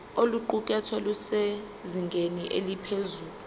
oluqukethwe lusezingeni eliphezulu